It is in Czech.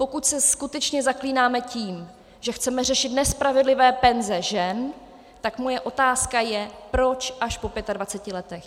Pokud se skutečně zaklínáme tím, že chceme řešit nespravedlivé penze žen, tak moje otázka je - proč až po 25 letech.